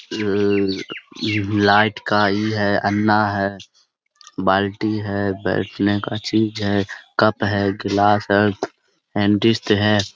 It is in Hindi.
लल लाइट का ई है अन्ना है बाल्टी है बैठने का चीज है कप है गिलास है डेंटिस्ट है।